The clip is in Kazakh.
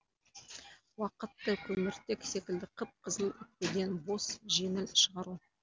уақытты көміртек секілді қып қызыл өкпеден бос жеңіл шығару